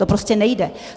To prostě nejde.